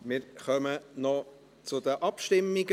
Wir kommen zu den Abstimmungen.